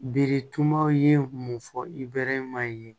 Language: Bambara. Biritumaw ye mun fɔ i bɛ maa ye